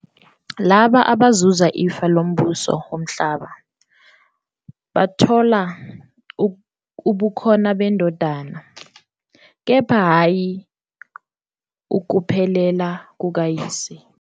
Labo abazuza ifa lombuso womhlaba "bathola ubukhona beNdodana, kepha hhayi ukuphelela kukaYise."